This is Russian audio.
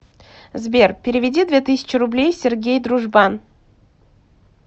сбер переведи две тысячи рублей сергей дружбан